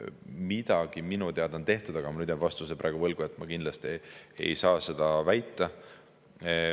Midagi minu teada on tehtud, aga ma nüüd jään vastuse praegu võlgu, ma kindlalt ei saa seda väita.